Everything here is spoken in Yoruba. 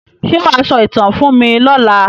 Ṣé wà á sọ ìtàn fún mí lọla?